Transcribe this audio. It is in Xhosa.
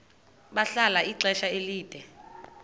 bahlala ixesha elide